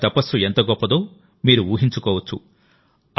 వారి తపస్సు ఎంత గొప్పదో మీరు ఊహించుకోవచ్చు